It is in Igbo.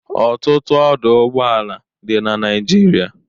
Ọtụtụ ọdụ ụgbọla dị na Naịjirịa.